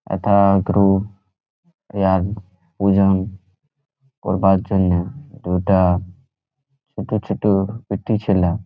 এটা এগ্রো ওজন করবার জন্যে। ওটা ছোট ছোট বেটি ছিলা।